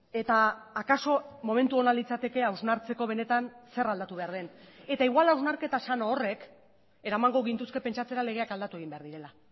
eta akaso momentu ona litzateke hausnartzeko benetan zer aldatu behar den eta igual hausnarketa sano horrek eramango gintuzke pentsatzera legeak aldatu egin behar direla